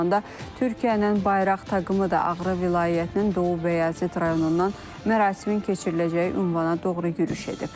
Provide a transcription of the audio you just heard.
Eyni zamanda Türkiyənin bayraq taqımı da Ağrı vilayətinin Doğubəyazit rayonundan mərasimin keçiriləcəyi ünvana doğru yürüş edib.